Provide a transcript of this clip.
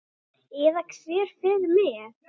Eða hver fer með.